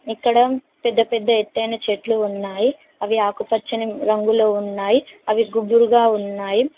ఇక్కడ పెద్దపెద్ద ఎత్తైన చెట్లు ఉన్నాయి అవి ఆకుపచ్చని రంగులో ఉన్నాయి అవి గుద్దురుగా ఉన్నాయి.